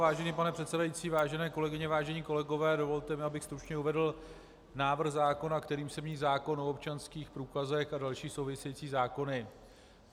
Vážený pane předsedající, vážené kolegyně, vážení kolegové, dovolte mi, abych stručně uvedl návrh zákona, kterým se mění zákon o občanských průkazech a další související zákony.